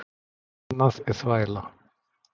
Annað er þvæla.